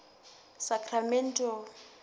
sacramento